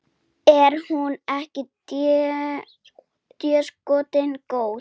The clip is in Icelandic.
Er hún ekki déskoti góð?